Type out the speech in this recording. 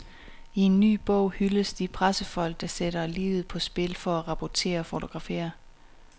I en ny bog hyldes de pressefolk, der sætter livet på spil for at rapportere og fotografere.